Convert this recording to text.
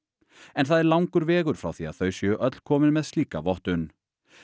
en það er langur vegur frá því að þau séu öll komin með slíka vottun